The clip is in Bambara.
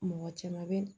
Mɔgɔ caman bɛ